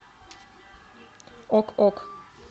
ок ок